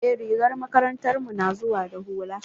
Eh rigar makarantar mu na zuwa da hula.